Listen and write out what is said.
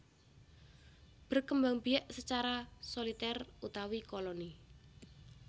Berkembangbiak secara Solitèr utawi Koloni